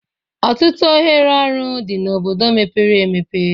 Ọtụtụ ohere ọrụ dị na obodo mepere emepe